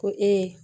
Ko e ye